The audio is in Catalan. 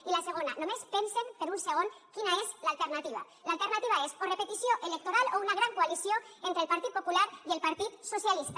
i la segona només pensen per un segon quina és l’alternativa l’alternativa és o repetició electoral o una gran coalició entre el partit popular i el partit socialista